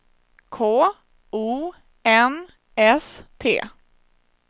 K O N S T